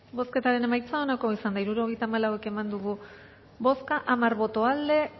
bozketaren emaitza onako izan da hirurogeita hamalau eman dugu bozka hamar boto aldekoa